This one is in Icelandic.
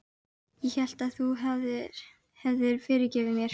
Ég hélt að þú hefðir fyrirgefið mér.